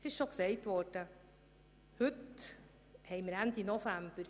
Es ist jetzt Ende November.